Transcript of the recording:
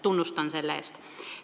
Tunnustan teda selle eest.